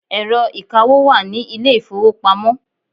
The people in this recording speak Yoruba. Ẹ̀rọ ìkawó wà ní ilé ìfowópamọ́.